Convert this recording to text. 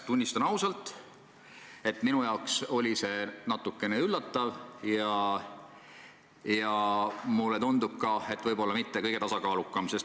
Tunnistan ausalt, et minu jaoks oli see natuke üllatav – mulle tundub, et võib-olla see polnud kõige tasakaalukam avaldus.